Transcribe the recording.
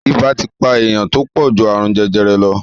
Ibà ti pa èèyàn tó pọ̀ ju àrùn jẹjẹrẹ lọ